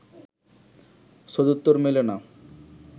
সদুত্তর মেলে না